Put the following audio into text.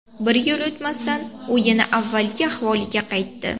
Bir yil o‘tmasdan u yana avvalgi ahvoliga qaytdi.